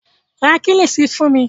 Ra Kílíṣí fún mi